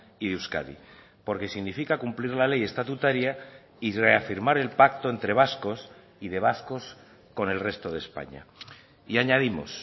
y euskadi porque significa cumplir la ley estatutaria y reafirmar el pacto entre vascos y de vascos con el resto de españa y añadimos